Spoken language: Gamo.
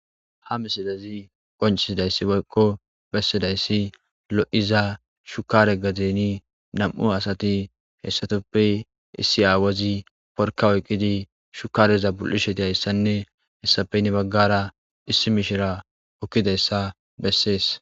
Ha misidazi qoncisidayssi wokko bessidayssi lo'iza shukare gadeni nam'u asati heessatoppe issi aawazi porka oyqqidi shukareza bulisheti hayssanne hessafeynne baggara issi mishira okkidayssa bessees.